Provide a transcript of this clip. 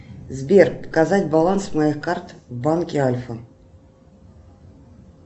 сбер показать баланс моих карт в банке альфа